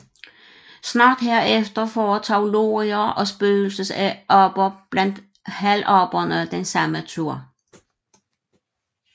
Snart herefter foretog lorier og spøgelsesaber blandt halvaberne den samme tur